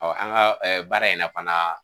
an ka baara in fana.